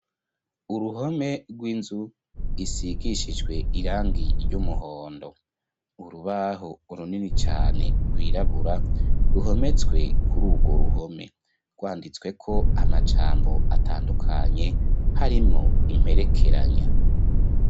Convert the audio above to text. Uruhome rwinzu isigishijwe irangi ry'umuhondo urubaho urunini cane rwirabura ruhometswe kuri urwo ruhome rwanditswe ko amajambo atandukanye harimwo imperekeranya.